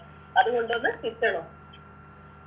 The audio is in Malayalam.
അതുകൊണ്ട് വന്ന് kitchen ഓ